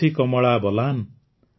Kosi Kamala Balan